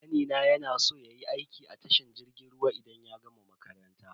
Kanina ya na so yayi aiki a tashar jirgin ruwa idan ya gama makaranta.